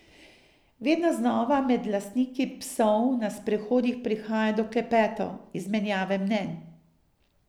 Vedno znova med lastniki psov na sprehodih prihaja do klepetov, izmenjave mnenj ...